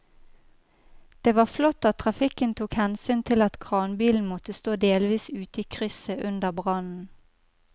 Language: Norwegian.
Det var flott at trafikken tok hensyn til at kranbilen måtte stå delvis ute i krysset under brannen.